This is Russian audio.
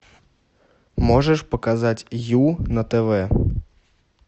можешь показать ю на тв